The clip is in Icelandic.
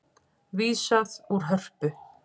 Vísað úr Hörpu